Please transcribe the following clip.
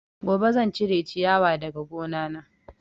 Gobe zan cire ciyawa daga gona na